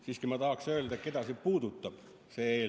Siiski ma tahaksin öelda, keda see puudutab, see eelnõu.